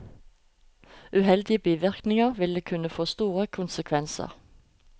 Uheldige bivirkninger vil kunne få store konsekvenser.